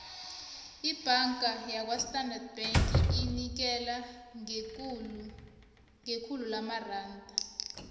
ibhanga yakwastandard bank inikela ngekhulu lamaranda